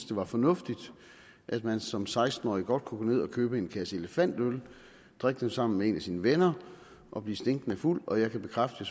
det var fornuftigt at man som seksten årig godt kunne gå ned og købe en kasse elefantøl og drikke dem sammen med en af sine venner og blive stinkende fuld og jeg kan bekræfte